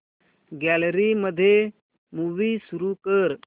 gallery मध्ये movie सुरू कर